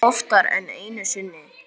Og oftar en einu sinni.